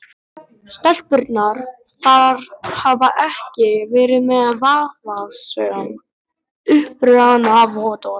Stelpurnar þar hafa ekki verið með vafasöm upprunavottorð.